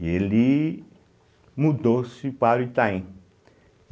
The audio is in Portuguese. E ele mudou-se para o Itaim.